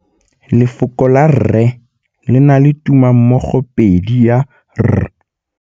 Lefoko la rre le na le tumammogôpedi ya, r.